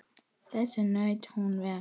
Þess naut hún vel.